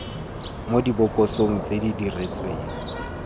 mo dibokosong tse di diretsweng